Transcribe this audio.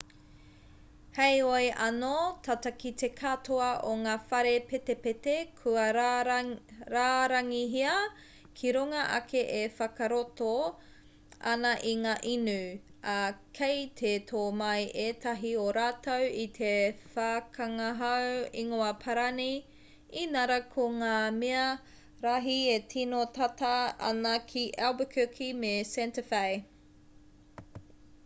heoi anō tata ki te katoa o ngā whare petipeti kua rārangihia ki runga ake e whakarato ana i ngā inu ā kei te tō mai ētahi o rātou i te whakangahau ingoa-parani inarā ko ngā mea rahi e tino tata ana ki albuquerque me santa fe